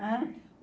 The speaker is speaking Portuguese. Hã?